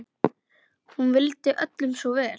Hún vildi öllum svo vel.